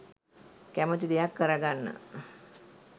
කැමති දෙයක් කර ගන්න